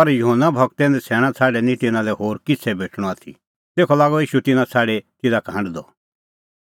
पर योना गूरे नछ़ैणां छ़ाडी निं तिन्नां लै होर किछ़ै भेटणअ आथी तेखअ लागअ ईशू तिन्नां छ़ाडी तिधा का हांढदअ